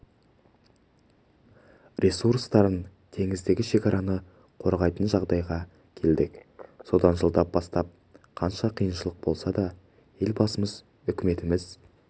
ресурстарын теңіздегі шекараны қорғайтын жағдайға келдік содан жылдан бастап қанша қиыншылық болса да елбасымыз үкіметіміз